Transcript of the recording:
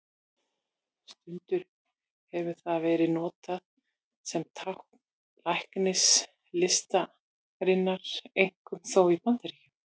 Stundum hefur það verið notað sem tákn læknislistarinnar, einkum þó í Bandaríkjunum.